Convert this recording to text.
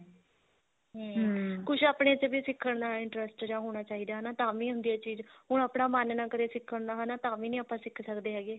ਹਮ ਕੁੱਝ ਆਪਣੇ ਤੇ ਵੀ ਸਿੱਖਣ ਦਾ interest ਜਾ ਹੋਣਾ ਚਾਹੀਦਾ ਹਨਾ ਤਾਵੀਂ ਹੁੰਦੀ ਆ ਚੀਜ਼ ਹੁਣ ਆਪਣਾ ਮਨ ਨਾ ਕਰੇ ਸਿੱਖਣ ਦਾ ਹਨਾ ਤਾਵੀਂ ਨਹੀਂ ਆਪਾਂ ਸਿੱਖ ਸਕਦੇ ਹੈਗੇ